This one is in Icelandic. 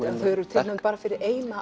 þau eru tilnefnd bara fyrir eina